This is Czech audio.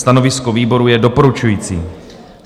Stanovisko výboru je doporučující.